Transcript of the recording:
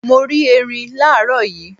Mo rí ẹrin làárọ̀ yii.